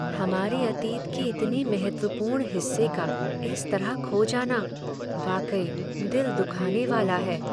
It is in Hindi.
हमारे अतीत के इतने महत्वपूर्ण हिस्से का इस तरह खो जाना, वाकई दिल दुखाने वाला है।